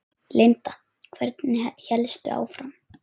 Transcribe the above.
Linda: Hvernig hélstu áfram?